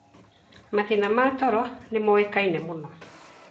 Mathĩna ma toro nĩ moĩkaine mũno